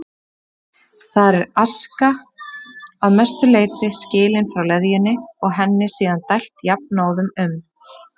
Þar er aska að mestu leyti skilin frá leðjunni og henni síðan dælt jafnóðum um